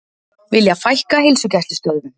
Vilja fækka heilsugæslustöðvum